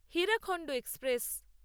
Hirakhand express